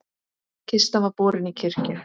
Kista var borin í kirkju.